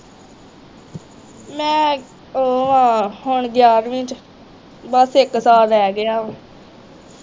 ਮੈਂ ਉਹ ਵਾ ਹੁਣ ਗਿਆਰਵੀ ਚ ਬੱਸ ਇੱਕ ਸਾਲ ਰਿਹ ਗਿਆ ਹੁਣ